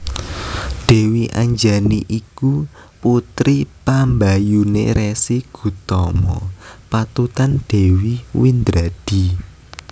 Dèwi Anjani iku putri pambayuné Resi Gutama patutan Dèwi Windradi